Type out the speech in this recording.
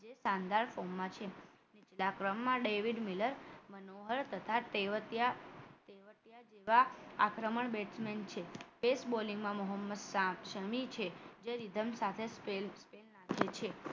જે શાનદાર ફોર્મમાં છે બીજા ક્રમમાં ડેવિડ મિલર મનોહર તથા તેવતિયા તેવતિયા જેવા આક્રમણ batsmen છે તેજ bowling માં મોહમ્મદ સ્વામી જે રીધમ સાથે લાગે છે